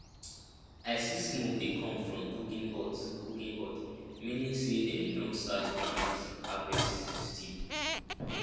i see smoke dey come from cooking hut cooking hut meaning say dem don start groundnut harvest stew